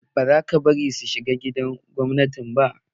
Ba za ka bari su shiga gidan gwamnati ba!